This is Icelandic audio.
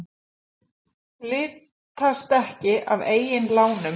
Litast ekki af eigin lánum